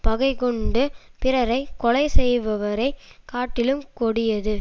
பகைகொண்டுப் பிறரை கொலை செய்பவரை காட்டிலும் கொடியது